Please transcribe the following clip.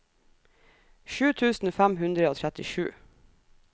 sju tusen fem hundre og trettisju